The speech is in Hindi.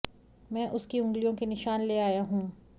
मैं उसकी उंगलियों के निशान ले आया हूं